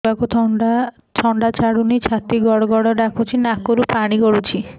ଛୁଆକୁ ଥଣ୍ଡା ଛାଡୁନି ଛାତି ଗଡ୍ ଗଡ୍ ଡାକୁଚି ନାକରୁ ପାଣି ଗଳୁଚି